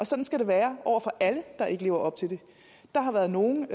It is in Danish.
sådan skal det være for alle der ikke lever op til det der har været nogle